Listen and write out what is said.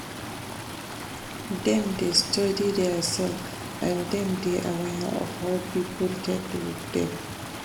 Dem dey study theirself and dem dey aware of how pipo take look dem